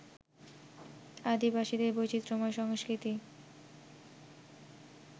আদিবাসীদের বৈচিত্র্যময় সংস্কৃতি